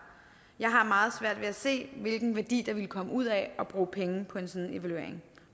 jeg har meget svært ved at se hvilken værdi der ville komme ud af at bruge penge på en sådan evaluering